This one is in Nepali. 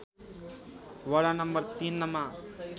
वडा नम्बर ३ मा